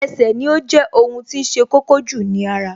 Ẹsẹ̀ ni ó jẹ́ ohun tí ṣe kókó jù ní ara